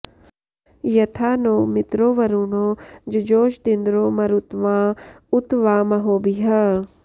यथा॑ नो मि॒त्रो वरु॑णो॒ जुजो॑ष॒दिन्द्रो॑ म॒रुत्वा॑ँ उ॒त वा॒ महो॑भिः